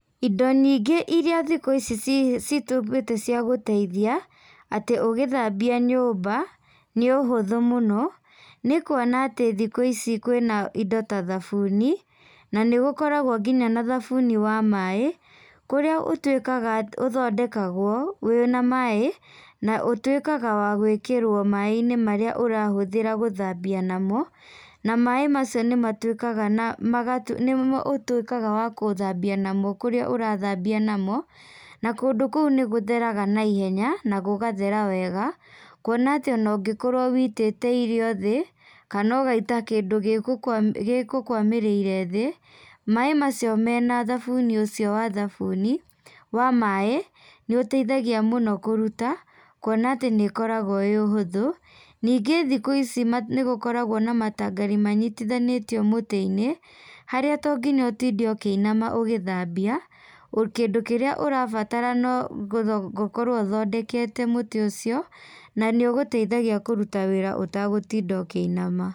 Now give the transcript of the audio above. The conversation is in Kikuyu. Indo nyingĩ iria thikũ ici ci cituĩkĩte cia gũteithia, atĩ ũgĩthambia nyũmba, nĩ ũhũthũ mũno, nĩkuona atĩ thikũ ici kwĩna indo ta thabuni, na nĩgũkoragwo nginya na thabuni wa maĩ, kũrĩa ũtuĩkaga ũthondekagwo wĩna maĩ, na ũtuĩkaga wa gwakĩrwo maĩnĩ marĩa ũrahũthĩra gũthambia namo, na maĩ macio nĩmatuĩkaga na maga nĩmo ũtuĩkaga wa gũthambia namo kũrĩa ũrathambia namo, na kũndũ kuũ nĩgũtheraga na ihenya, na gũgathera wega, kuona atĩ ona ũngĩkorwo wĩitĩte irio thĩ, kana ũgaita kĩndũ gĩgũkwa gĩgũkwamĩrĩire thĩ, maĩ macio mena thabuni ũcio wa thabuni, wamaĩ, nĩũteithagia mũno kũruta, kuona atĩ nĩũkoragwo wĩ ũhũthũ, nĩngĩ thikũ ici nĩgũkoragwo na matangaro manyitithanĩtio mũtĩinĩ, harĩa to nginya ũtĩnde ũkĩinama ũgĩthambia, kĩndũ kĩrĩa ũrabatara na gũkorwo ũthondekete mũtĩ ũcio, na nĩũgũteithagia kũruta wĩra ũtagũtinda ũkĩinama.